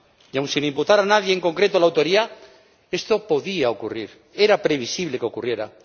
Y aun sin imputar a nadie en concreto la autoría, esto podía ocurrir, era previsible que ocurriera.